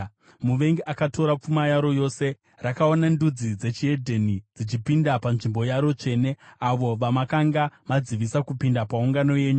Muvengi akatora pfuma yaro yose; rakaona ndudzi dzechihedheni dzichipinda panzvimbo yaro tsvene, avo vamakanga madzivisa kupinda paungano yenyu.